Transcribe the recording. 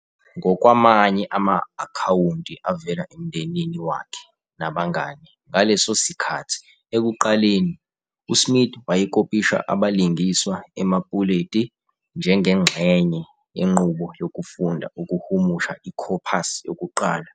Ngokwamanye ama-akhawunti avela emndenini wakhe nabangane ngaleso sikhathi, ekuqaleni, uSmith wayekopisha abalingiswa emapuleti njengengxenye yenqubo yokufunda ukuhumusha ikhophasi yokuqala.